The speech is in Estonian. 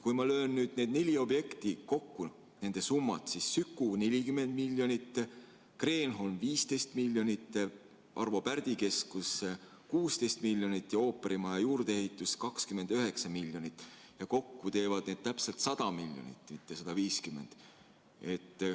Kui ma löön nüüd kokku need neli objekti, nende summad – Süku 40 miljonit, Kreenholm 15 miljonit, Arvo Pärdi keskus 16 miljonit ja ooperimaja juurdeehitus 29 miljonit –, siis kokku teeb see täpselt 100 miljonit, mitte 150.